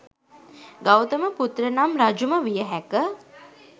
ගෞතම පුත්‍රනම් රජුම විය හැක